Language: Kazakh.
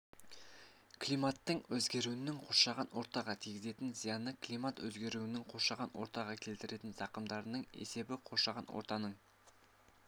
климаттың өзгеруінің қоршаған ортаға тигізетін зияны климат өзгеруінің қоршаған ортаға келтіретін зақымдарының есебі қоршаған ортаның